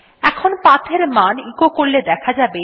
এখন PATH এর মান এচো করলে দেখা যাবে